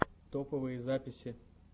топовые записи